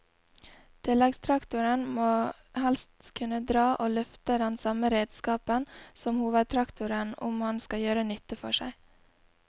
Tilleggstraktoren må helst kunne dra og løfte den samme redskapen som hovedtraktoren om han skal gjøre nytte for seg.